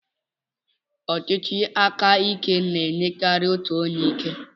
ọchịchị aka ike na-enyekarị otu onye ike.